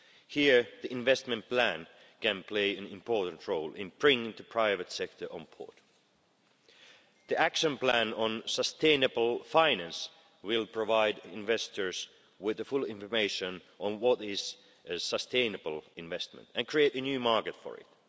Here, the investment plan can play an important role in bringing the private sector on board. The action plan on sustainable finance will provide investors with comprehensive information on what is sustainable investment and create a new market for it.